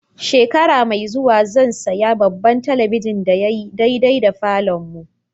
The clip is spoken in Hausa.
Shekara mai zuwa zan siya babban telibijin da ya yi daidai da falon mu.